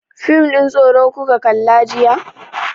Fim ɗin tsoro kuka kalla jiya?